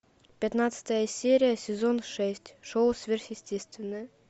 пятнадцатая серия сезон шесть шоу сверхъестественное